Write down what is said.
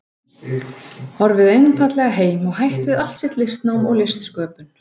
horfið einfaldlega heim og hætt við allt sitt listnám og listsköpun.